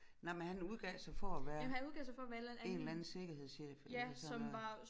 Nej men han udgav sig for at være en eller anden sikkerhedschef eller sådan noget